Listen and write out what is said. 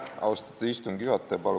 Austatud istungi juhataja!